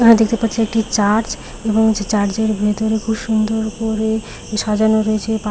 এখানে দেখতে পাচ্ছি একটি চার্চ এবং সেই চার্চ -এর ভিতরে খুব সুন্দর করে সাজানো রয়েছে পা--